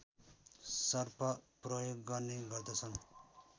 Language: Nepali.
सर्प प्रयोग गर्ने गर्दछन्